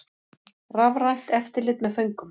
Rafrænt eftirlit með föngum